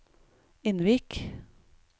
Innvik